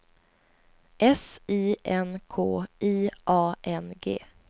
S I N K I A N G